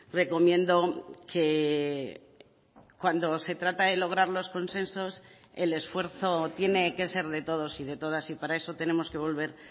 recomiendo que cuando se trata de lograr los consensos el esfuerzo tiene que ser de todos y de todas y para eso tenemos que volver